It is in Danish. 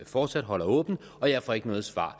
fortsat holder åbent og jeg får ikke noget svar